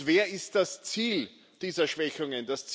Wer ist das Ziel dieser Schwächungen?